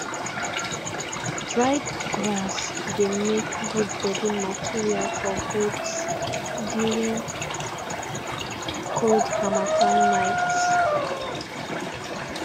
dried grass dey make good bedding material for goats during cold harmattan nights